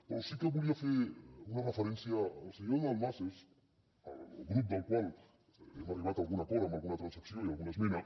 però sí que volia fer una referència al senyor de dalmases el grup del qual hem arribat a algun acord amb alguna transacció i alguna esmena